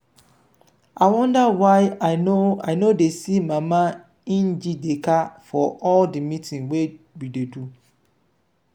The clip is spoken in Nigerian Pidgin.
i wonder why i no i no dey see mama njideka for all the meeting we dey do